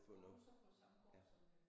Kommer du så fra samme gård som øh